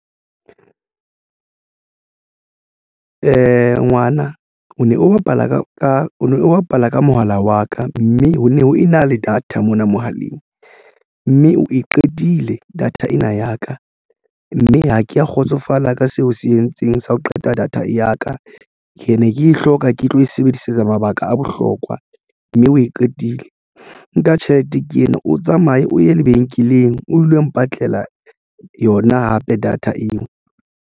Ngwana o ne o bapala ka ka o bapala ka mohala wa ka mme ho ne ho ena le data mona mohaleng mme o eqedile data ena ya ka, mme ha ke ya kgotsofala ka seo se entseng sa ho qeta data ya ka ke ne ke hloka ke tlo e sebedisetsa mabaka a bohlokwa mme o e qetile nka tjhelete ke ena o tsamaye o ye lebenkeleng o dule mpatlela yona hape data eo.